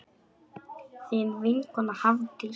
Þín vinkona Hafdís.